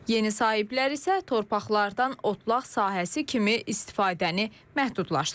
Yeni sahiblər isə torpaqlardan otlaq sahəsi kimi istifadəni məhdudlaşdırıb.